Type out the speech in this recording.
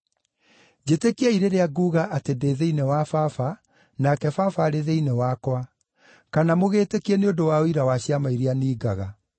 Njĩtĩkiai rĩrĩa nguuga atĩ ndĩ thĩinĩ wa Baba, nake Baba arĩ thĩinĩ wakwa; kana mũgĩĩtĩkie nĩ ũndũ wa ũira wa ciama iria ningaga.